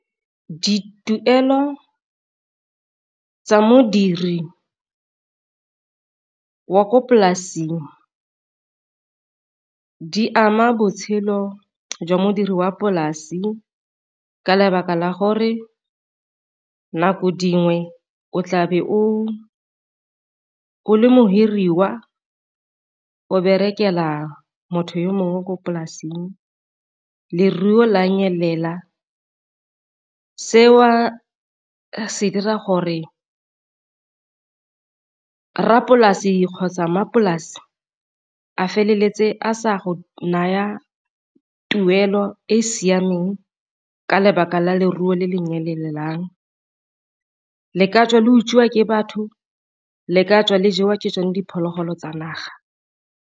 Dituelo tsa modiri wa ko polasing di ama botshelo jwa modiri wa polasi ka lebaka la gore nako dingwe o tlabe o o le mo hiriwa o berekela motho yo mongwe mo polasing, leruo la nyelela seo se dira gore rrapolasi kgotsa mmapolasi a feleletse a sa go naya tuelo e e siameng ka lebaka la leruo le nyelelang le ka tswa le utswiwa ke batho le ka tswa le jewa ke sone diphologolo tsa naga.